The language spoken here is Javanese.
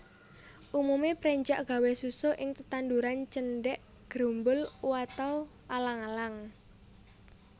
Umume prenjak gawé susuh ing tetanduran cendhek grumbul uataw alang alang